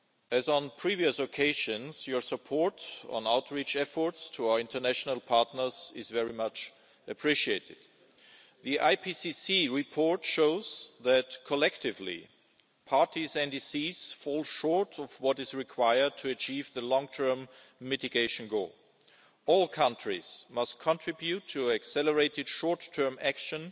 As on previous occasions, your support on outreach efforts to our international partners is very much appreciated. The IPCC report shows that, collectively, the parties' nationally determined contributions fall short of what is required to achieve the long-term mitigation goal. All countries must contribute to accelerated short term action